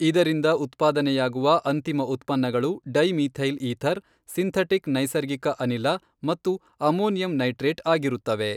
ಇದರಿಂದ ಉತ್ಪಾದನೆಯಾಗುವ ಅಂತಿಮ ಉತ್ಪನ್ನಗಳು ಡೈ ಮೀಥೈಲ್ ಈಥರ್, ಸಿಂಥಟಿಕ್ ನೈಸರ್ಗಿಕ ಅನಿಲ ಮತ್ತು ಅಮೋನಿಯಂ ನೈಟ್ರೇಟ್ ಆಗಿರುತ್ತವೆ.